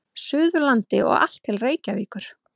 Suðurlandi og allt til Reykjavíkur.